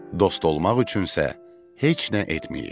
Dost olmaq üçünsə heç nə etməyib.